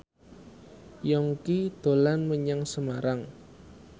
Yongki dolan menyang Semarang